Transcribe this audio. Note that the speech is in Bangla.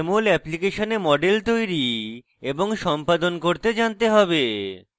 jmol অ্যাপ্লিকেশনে models তৈরী এবং সম্পাদন করতে জানতে হবে